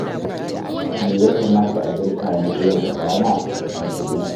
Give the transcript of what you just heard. Me ya kamata a girka ne yau da rana, masoyi.